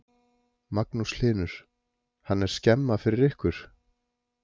Magnús Hlynur: Hann er skemma fyrir ykkur?